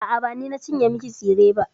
A'a, ba ni na cinye miki tsire ba.